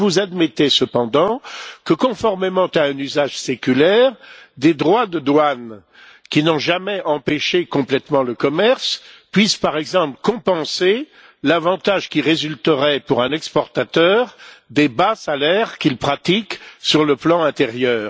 Admettez vous cependant que, conformément à un usage séculaire, des droits de douane qui n'ont jamais empêché complètement le commerce puissent, par exemple, compenser l'avantage qui résulterait, pour un exportateur, des bas salaires qu'il pratique sur le plan intérieur?